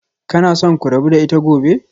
Kuna so ku rabu da ita gobe?